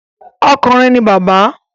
Okùnrin ni bàbá